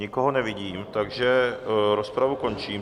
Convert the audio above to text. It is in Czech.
Nikoho nevidím, takže rozpravu končím.